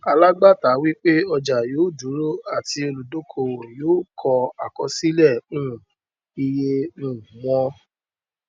alágbàátà wí pé ọjà yóò dúró àti olùdókòòwò yóò kọ àkọsílẹ um iye um wọn